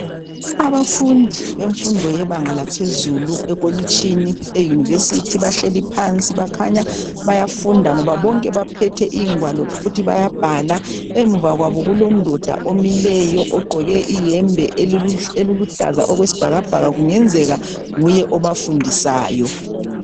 Abafundi bemfundo yebanga laphezulu ekolitshini eyunivesithi bahleli phansi bakhanya bayafunda ngoba bonke baphethe ingwalo futhi bayabhala emuva kwabo kulondoda omileyo ogqoke iyembe eluluhlaza okwesibhakabhaka kungenzeka nguye obafundisayo.